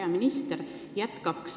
Hea minister!